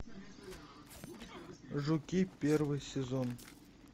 жуки первый сезон